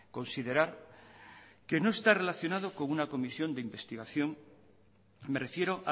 considerar que no está relacionado con una comisión de investigación me refiero